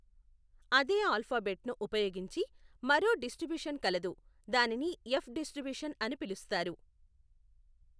అదే ఆల్ఫబెట్ ను ఉపయోగించి మరో డిస్టిబ్యూషన్ కలదు దానిని ఎఫ్ డిస్టిబ్యూషన్ అని పిలుస్తారు.